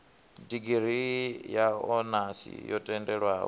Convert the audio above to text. digirii ya onasi yo tendelwaho